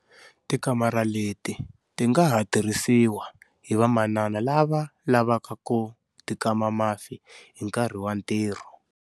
Tikamara leti ti nga ha tirhisiwa hi vamanana lava lavaka ku tikama mafi hi nkarhi wa ntirho.